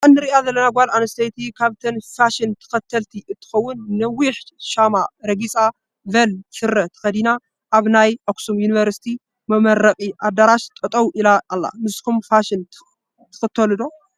እዛ ንሪኣ ዘለና ጓል ኣነስተይቲ ካብተን ፋሸን ተከተልቲ እንትከውን ነዊሕሻማ ረጊፃ ቨል ስረ ተከዲናኣብ ናይ ኣክሱም ዮኒቨርስቲ መመረቂ ኣዳራሕ ጠጠው ኢላ ኣላ። ንስኩም ከፋሽን ትከተሉ ዶ?